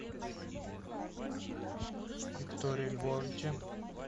викторе львовиче